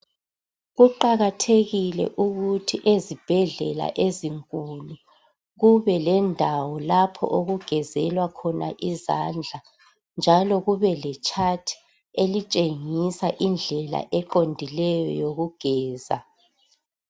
Kuqakathekile ukuthi ezibhedlela ezinkulu, kube lendawo lapho okugezelwa khona izandla, njalo kube le chart elitshengisa indlela eqondileyo yokugeza.